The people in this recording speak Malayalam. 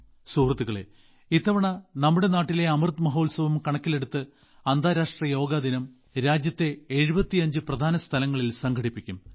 സുഹൃത്തുക്കളേ ഇത്തവണ നമ്മുടെ നാട്ടിലെ അമൃത് മഹോത്സവം കണക്കിലെടുത്ത് അന്താരാഷ്ട്ര യോഗ ദിനം രാജ്യത്തെ 75 പ്രധാന സ്ഥലങ്ങളിൽ സംഘടിപ്പിക്കും